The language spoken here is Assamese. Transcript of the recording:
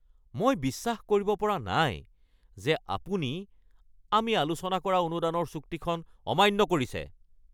মই বিশ্বাস কৰিব পৰা নাই যে আপুনি আমি আলোচনা কৰা অনুদানৰ চুক্তিখন অমান্য কৰিছে।